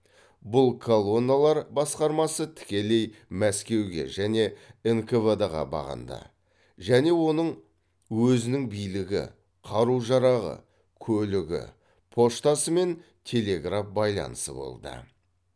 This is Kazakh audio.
бұл колонналар басқармасы тікелей мәскеуге және нквд ға бағынды және оның өзінің билігі қару жарағы көлігі поштасы мен телеграф байланысы болды